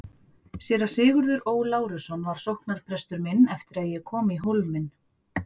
Séra Sigurður Ó. Lárusson var sóknarprestur minn eftir að ég kom í Hólminn.